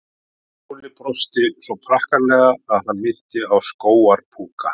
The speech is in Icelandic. Sveinn Óli brosti svo prakkaralega að hann minnti á skógar púka.